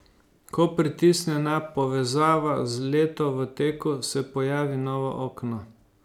Ko pritisne na Povezava z Leto v teku, se pojavi novo okno.